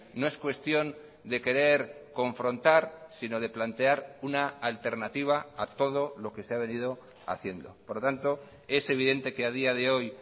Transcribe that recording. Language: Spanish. no es cuestión de querer confrontar sino de plantear una alternativa a todo lo que se ha venido haciendo por lo tanto es evidente que a día de hoy